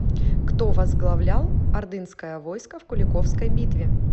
кто возглавлял ордынское войско в куликовской битве